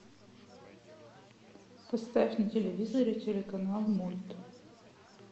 поставь на телевизоре телеканал мульт